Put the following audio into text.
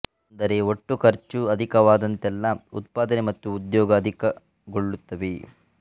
ಅಂದರೆ ಒಟ್ಟು ಖರ್ಚು ಅಧಿಕವಾದಂತೆಲ್ಲ ಉತ್ಪಾದನೆ ಮತ್ತು ಉದ್ಯೋಗ ಅಧಿಕಗೊಳ್ಳುತ್ತವೆ